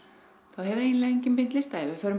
hefur eiginlega enginn beint lyst á því við förum